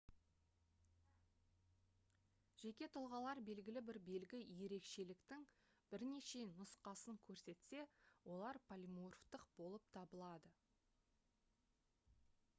жеке тұлғалар белгілі бір белгі ерекшеліктің бірнеше нұсқасын көрсетсе олар полиморфтық болып табылады